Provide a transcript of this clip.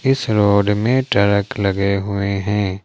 इस रोड में टरक लगे हुए है।